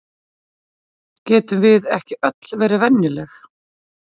Getum við ekki öll verið venjuleg?